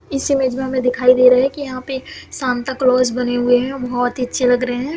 इस इमेज में हमें दिखाई दे रहा है की यहाँ पे सांता क्लॉस बने हुए हैं बहुत ही अच्छे लग रहें हैं।